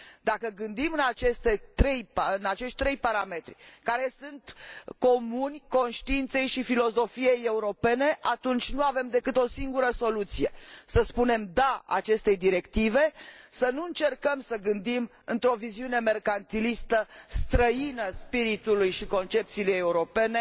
Dacă gândim în acești trei parametri, care sunt comuni conștiinței și filosofiei europene, atunci nu avem decât o singură soluție să spunem DA acestei directive, să nu încercăm să gândim într o viziune mercantilistă, străină spiritului și concepției europene